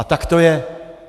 A tak to je!